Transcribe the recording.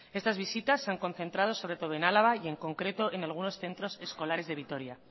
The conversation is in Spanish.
estas visitas se han concentrado sobre todo en álava y en concreto en algunos centros escolares de vitoria